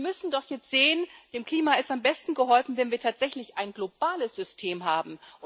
Wir müssen doch jetzt sehen Dem Klima ist am besten geholfen, wenn wir tatsächlich ein globales System haben.